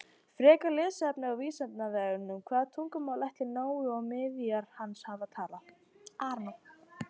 Frekara lesefni á Vísindavefnum: Hvaða tungumál ætli Nói og niðjar hans hafi talað?